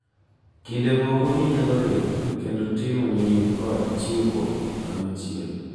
kinde moko ginyalo riwre kendo timo nying’ kod chiwruok kanyachiel,